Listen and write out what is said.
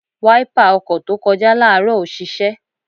Wáípà ọkọ̀ tó kọjá láàárọ̀ ò ṣiṣẹ́.